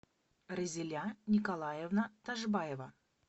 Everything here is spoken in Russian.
разиля николаевна ташбаева